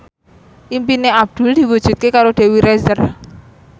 impine Abdul diwujudke karo Dewi Rezer